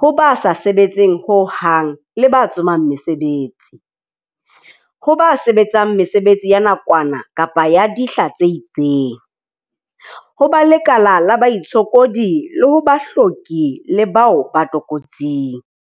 ho ba sa sebetseng hohang le ba tsomang mesebetsi. Ho ba sebetsang mesebetsi ya nakwana kapa ya dihla tse itseng, ho ba lekala la baitshokodi, le ho bahloki le bao ba tlokotsing.